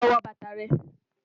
Lọ wọ bátà rẹ̀.